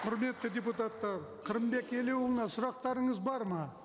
құрметті депутаттар қырымбек елеуұлына сұрақтарыңыз бар ма